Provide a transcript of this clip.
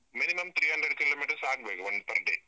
Minimum three hundred kilometers ಆಗ್ಬೇಕು, ಒಂದು per day .